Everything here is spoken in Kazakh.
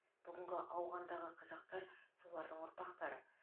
бүгінгі ауғандағы қазақтар солардың ұрпақтары